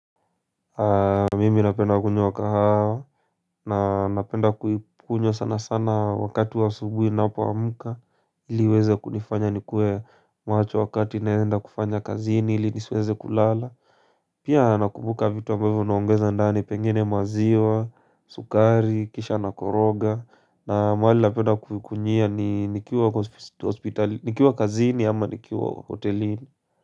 Mimi napenda kunywa kahawa. Na napenda kuikunywa sana sana wakati wa asubuhi ninapoamuka ili iweze kunifanya nikuwe macho wakati naenda kufanya kazini ili nisweze kulala. Pia nakumbuka vitu ambavyo naongeza ndani pengine maziwa sukari kisha na koroga na mahali napenda kunyewa ni nikiwa nikiwa kazini ama nikiwa hotelini.